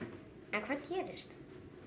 en hvað gerist